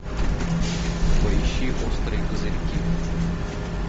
поищи острые козырьки